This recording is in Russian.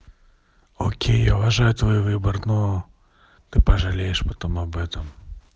окей уважаю твой выбор но ты пожалеешь потом об этом